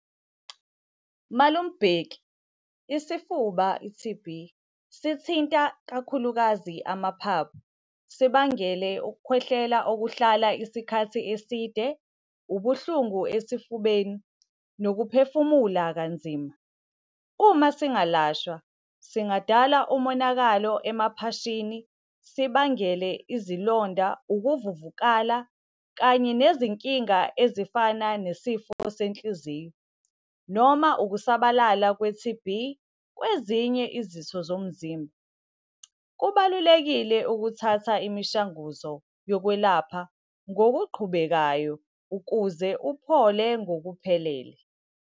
Malume uBheki, isifuba i-T_B, sithinta kakhulukazi amaphaphu, sibangele ukukhwehlela okuhlala isikhathi eside, ubuhlungu esifubeni nokuphefumula kanzima. Uma singalashwa singadala umonakalo emaphashini, sibangele izilonda, ukuvuvukala kanye nezinkinga ezifana nesifo senhliziyo, noma ukusabalala kwe-T_B kwezinye izitho zomzimba. Kubalulekile ukuthatha imishanguzo yokwelapha ngokuqhubekayo ukuze uphole ngokuphelele.